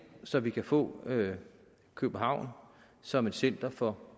så vi kan få københavn som et center for